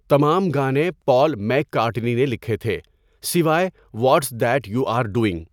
تمام گانے Paul McCartney نے لکھے تھے، سوائے 'what's that you are doing.